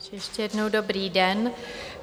Ještě jednou dobrý den.